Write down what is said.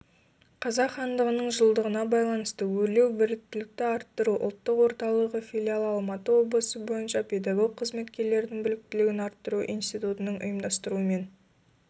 қазақ хандығының жылдығына байланысты өрлеубіліктілікті арттыру ұлттық орталығыфилиалы алматы облысы бойынша педагог қызметкерлердің біліктілігін арттыру институтыныңұйымдастыруымен